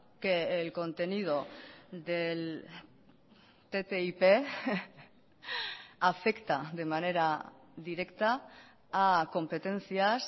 que el contenido del ttip afecta de manera directa a competencias